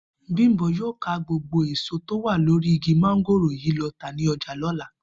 Bímpé yóò ká gbogbo èso tó wà lórí igi mo̩ngòrò yìí lo̩ tà ní o̩jà ló̩la